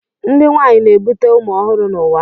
Ndị nwanyị na-ebute ụmụ ọhụrụ n'ụwa